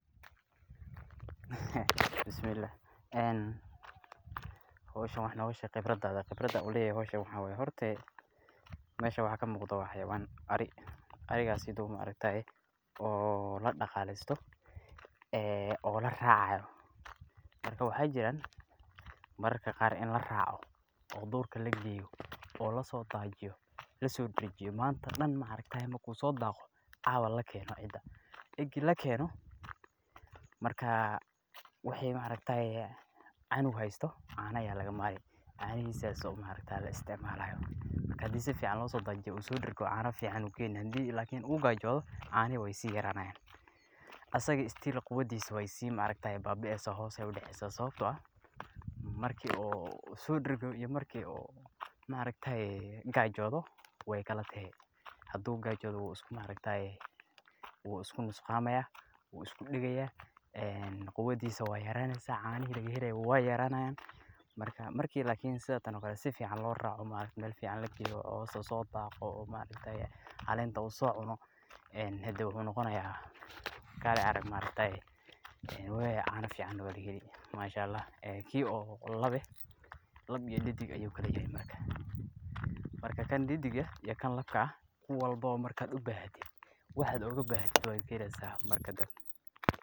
Howshan wax nooga sheeg khibradaada, howshan khibrada aan uleyahay waxaa waye horta, meeshan waxa kamuuqdo waa xawayaan ari, arigaas oo ladaqaalesto, oo laraacayo, waxaa jiraan mararka qaar in laraaco oo duurka lageeyo oo lasoo daajiyo, lasoo daajiyo, maanta oo dan markuu soo daaqo caawa lakeeno cida, egi lakeeno wixi cunug haysto, caana ayaa laga maali, caanihiisa ayaa la isticmaali, marka sifican hadii loosoo daajiyo oo uu soo dargo caana fican ayuu keeni, hadii oo lakin uu gaajodo, caanihi waay sii yaranayaan, asagana quwadiisa hoos ayeey usii daceysa Sababta oo ah marki oo uu soo dargo iyo marki uu gaajodo waay kala tahay, haduu gaajodo wuu isku nusqaamaya, wuu isku dagaaya, quwadiisa waay yaraneysa, caanihi laga helaaye weey yaranayaan, marki lakin si fican loo raaco, meel fican lageeyo oo uu soo daaqo, oo uu caleenta soo cuno, wuxuu noqonaaya kale arag, caana fican waa laga heli mashaallah, kii oo lab ah, lab iyo didig ayuu kala yahay marka, marka kan didig iyo kan labka ku walbo markaad ubahatid waxaad ooga baahato waad kaheleysa.